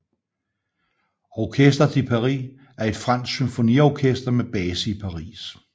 Orchestre de Paris er et fransk symfoniorkester med base i Paris